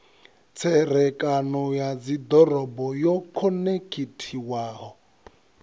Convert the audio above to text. tserekano ya dzidoroboni yo khonekhithiwaho